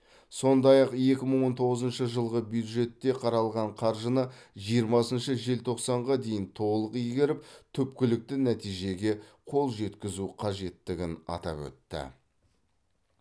сондай ақ екі мың он тоғызыншы жылғы бюджетте қаралған қаржыны жиырмасыншы желтоқсанға дейін толық игеріп түпкілікті нәтижеге қол жеткізу қажеттігін атап өтті